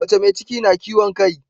Mace me ciki na kiwon kai